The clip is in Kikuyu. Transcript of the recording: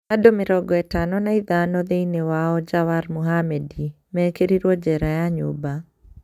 "Andũ mirongo ĩtano na ithano thĩini wao Jawar Mohammed mekerirwo jera ya nyũmba.